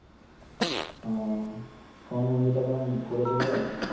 আহ কোন মন্দির টা কেমন করেছে বল